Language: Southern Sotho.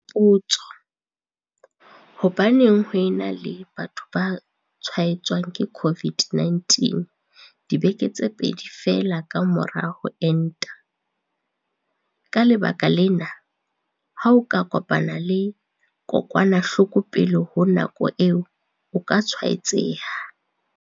Potso- Hobaneng ho e na le batho ba tshwaetswang ke COVID-19 dibeke tse pedi feela ka mora ho enta? Ka lebaka lena, ha o ka kopana le kokwanahloko pele ho nako eo, o ka tshwaetseha.